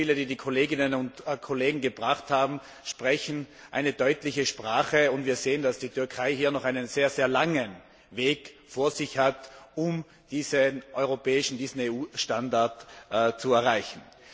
Die Beispiele, die die Kolleginnen und Kollegen gebracht haben, sprechen eine deutliche Sprache, und wir sehen, dass die Türkei hier noch einen sehr, sehr langen Weg vor sich hat, um den EU Standard zu erreichen.